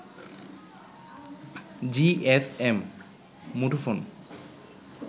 GSM মুঠোফোন